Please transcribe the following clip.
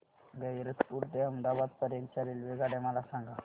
गैरतपुर ते अहमदाबाद पर्यंत च्या रेल्वेगाड्या मला सांगा